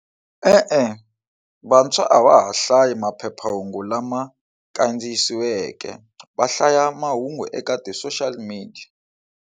E-e, vantshwa a va ha hlaya maphephahungu lama kandziyisiweke va hlaya mahungu eka ti social media.